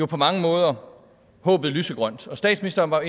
på mange måder lysegrønt og statsministeren var